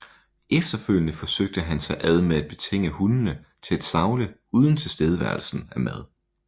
Efterfølgende forsøgte han sig ad med at betinge hundene til at savle uden tilstedeværelsen af mad